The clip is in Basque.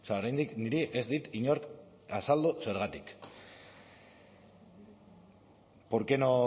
oraindik niri ez dit inork azaldu zergatik por qué no